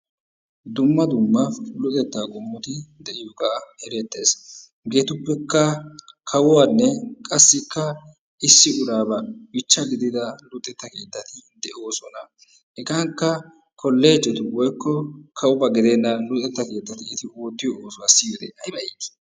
Dumma dumma luxettaa qommoti de'iyoogaa erettees. hegetuppekka kawuaanne qassikka issi uraabaa biichcha giidida luxetta keettati doosona. hegaakka kollejeti woykko kawiba gidenna luxxetta keettati oottiyoobaa siyoode ayba iitti!